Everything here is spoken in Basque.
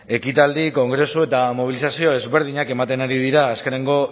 ekitaldi kongresu eta mobilizazio desberdinak ematen ari dira azkenengo